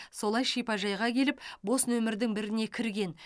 солай шипажайға келіп бос нөмірдің біріне кірген